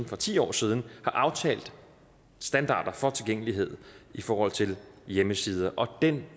for ti år siden aftalte standarder for tilgængelighed i forhold til hjemmesider og den